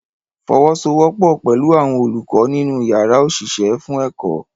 Fọwọ́sowọ́pọ̀ pẹ̀lú àwọn olùkọ́ nínú yàrá òṣìṣẹ́ fún ẹ̀kọ́